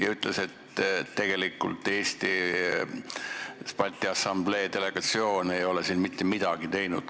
Ta ütles ka, et Balti Assamblee Eesti delegatsioon ei ole selleks mitte midagi teinud.